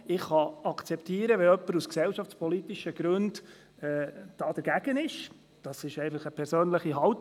Ich kann akzeptieren, wenn jemand aus gesellschaftspolitischen Gründen dagegen ist – das ist eine persönliche Haltung.